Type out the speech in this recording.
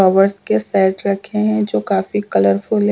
Covers के set रखे हैंजो काफी कलरफुल है।